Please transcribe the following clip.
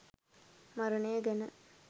මරණය ගැන.